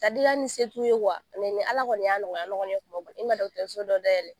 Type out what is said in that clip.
Ka diya ni setu wa, ni ala kɔni y'a nɔgɔya ne kɔni ye kuma min n be na dɔgɔtɔrɔso dɔ da yɛlɛ.